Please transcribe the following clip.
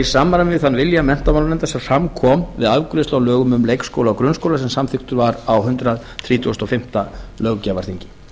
samræmi við þann vilja menntamálanefndar sem fram kom við afgreiðslu á lögunum um leikskóla og grunnskóla sem samþykkt voru á hundrað þrítugasta og fimmta löggjafarþingi